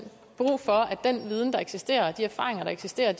brug for at den viden der eksisterer og de erfaringer der eksisterer